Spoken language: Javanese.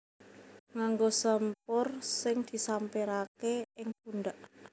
Nganggo sampur sing disampiraké ing pundhak